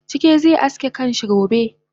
Chike ze aske kanshi gobe